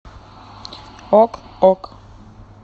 ок ок